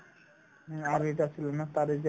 উম, আৰু এটা আছিল ন taare zameen par